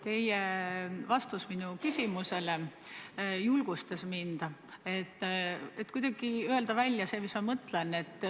Teie vastus minu küsimusele julgustas mind ütlema välja seda, mis ma mõtlen.